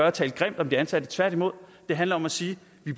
at tale grimt om de ansatte tværtimod det handler om at sige